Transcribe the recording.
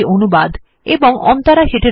আমি অনির্বাণ স্বাক্ষর করলাম